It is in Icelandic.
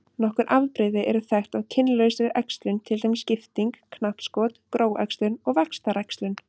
Nokkur afbrigði eru þekkt af kynlausri æxlun til dæmis skipting, knappskot, gróæxlun og vaxtaræxlun.